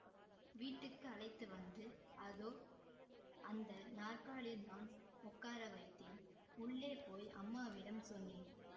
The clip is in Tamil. வீட்டுக்கு அழைத்து வந்து அதோ அந்த நாற்காலியில்தான் உட்காரவைத்தேன் உள்ளேபோய் அம்மாவிடம் சொன்னேன்